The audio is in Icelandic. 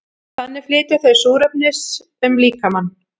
þannig flytja þau súrefnis um líkamann